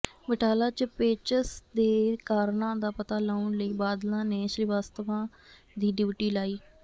ਬਟਾਲਾ ਚ ਪੇਚਸ ਦੇ ਕਾਰਨਾਂ ਦਾ ਪਤਾ ਲਾਉਣ ਲਈ ਬਾਦਲ ਨੇ ਸ੍ਰੀਵਾਸਤਵਾ ਦੀ ਡਿਉਟੀ ਲਾਈ